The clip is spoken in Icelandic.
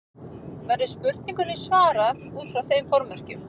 Verður spurningunni svarað út frá þeim formerkjum.